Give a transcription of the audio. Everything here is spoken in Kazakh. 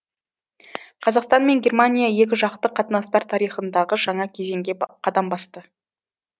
қазақстан мен германия екіжақты қатынастар тарихындағы жаңа кезеңге қадам басты